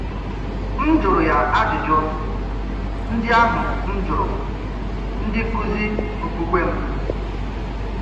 M̀ jụrụ́ yà ajụ́jụ́ ndị́ ahụ́ m̀ jụrụ́ ndị́ nkụ́zì ọ̀kpùkpè m.